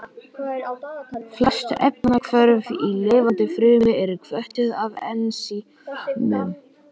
Flest efnahvörf í lifandi frumu eru hvötuð af ensímum.